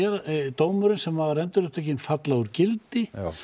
dómurinn sem var endurupptekinn falla úr gildi